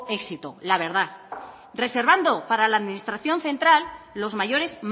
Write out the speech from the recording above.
éxito la verdad reservando para la administración central los mayores